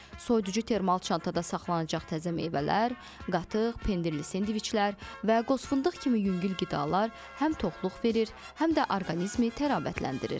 Soyuducu termal çantada saxlanacaq təzə meyvələr, qatıq, pendirli sendviçlər və qoz-fındıq kimi yüngül qidalar həm toxluq verir, həm də orqanizmi təravətləndirir.